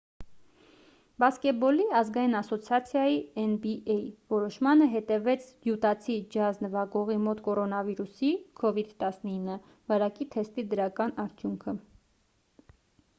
բասկետբոլի ազգային ասոցիացիայի nba որոշմանը հետևեց յուտացի ջազ նվագողի մոտ կորոնավիրուսի covid-19 վարակի թեստի դրական արդյունքը: